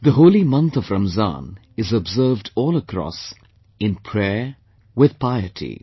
The holy month of Ramzan is observed all across, in prayer with piety